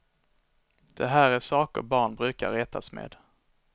Det här är saker barn brukar retas med.